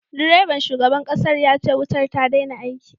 Direban shugaban kasar yace wutar ta daina aiki